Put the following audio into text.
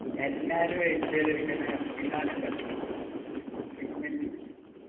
എല്ലാരും wait ചെയ്ത് ഇരിക്കണ ബിലാൽണ്ടല്ലോ